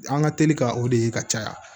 An ka teli ka o de ye ka caya